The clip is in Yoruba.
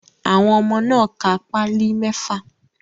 Àwọn ọmọ náà ka páálì mẹ́fà.